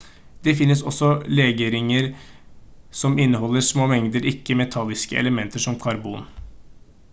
det finnes også legeringer som inneholder små mengder ikke-metalliske elementer som karbon